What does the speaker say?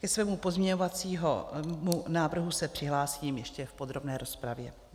Ke svému pozměňovacímu návrhu se přihlásím ještě v podrobné rozpravě.